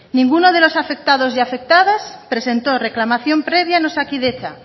ninguno de los afectados ni afectadas presentó reclamación previa en osakidetza